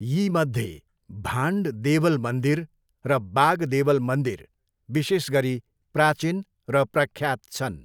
यीमध्ये भान्ड देवल मन्दिर र बाग देवल मन्दिर विशेष गरी प्राचीन र प्रख्यात छन्।